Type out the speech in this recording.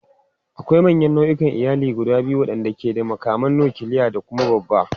Akwai manyan nau'ikan iyali guda biyu waɗanda ke da makaman nukiliya da kuma babba.